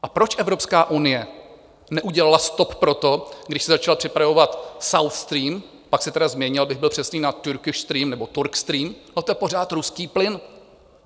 A proč Evropská unie neudělala stop pro to, když se začal připravovat South Stream, pak se tedy změnil, abych byl přesný, na Türkish Stream nebo Turk Stream, a to je pořád ruský plyn.